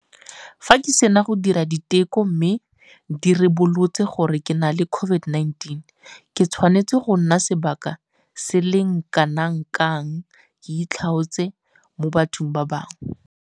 Fa ke sena go dira diteko mme di ribolotse gore ke na le COVID-19, ke tshwanetse go nna sebaka se le kanakang ke itlhaotse mo bathong ba bangwe?